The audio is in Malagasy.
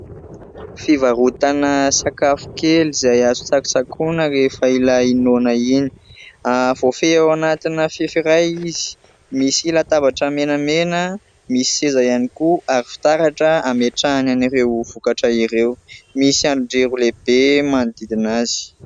Fivarotana sakafo kely izay azo tsakotsakoina rehefa ilay noana iny. Voafehy ao anatina fefy iray izy. Misy latabatra menamena misy seza ihany koa ary fitaratra ametrahany an'ireo vokatra ireo. Misy andrin-jiro lehibe manodidina azy.